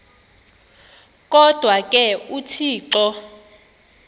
kodwa ke uthixo